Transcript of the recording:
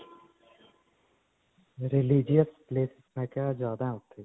religious places ਮੈਂ ਕਿਹਾ ਜਿਆਦਾ ਹੈ ਉੱਥੇ.